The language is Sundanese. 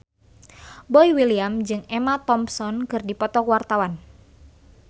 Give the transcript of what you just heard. Boy William jeung Emma Thompson keur dipoto ku wartawan